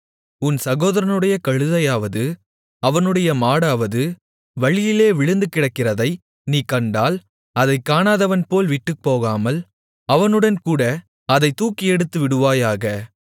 உன் சகோதரனுடைய கழுதையாவது அவனுடைய மாடாவது வழியிலே விழுந்துகிடக்கிறதை நீ கண்டால் அதைக் காணாதவன்போல விட்டுப்போகாமல் அவனுடன்கூட அதைத் தூக்கியெடுத்துவிடுவாயாக